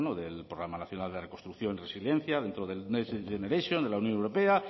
del programa nacional de reconstrucción resiliencia dentro del next generation de la unión europea